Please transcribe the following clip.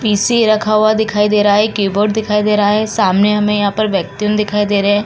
PC रखा हुआ दिखाई दे रहा है। कीबोर्ड दिखाई दे रहा है। सामने हमें यहाँ पर दिखाई दे रहे हैं।